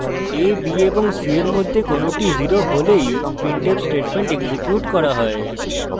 a b এবং c এর মধ্যে কোনটি 0 হলেই printf statement এক্সিকিউট করা হয়